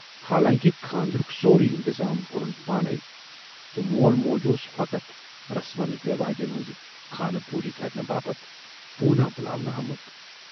حالانکہِ خاندرُک سورُے اِنتظام کورُن پانےَ تہٕ مول موج اوس فقط رسمن رٮ۪واجَن ہٕنز خانہٕ پوٗری کَرنہٕ باپتھ پوٗناہؔ بُلاونہٕ آمُت۔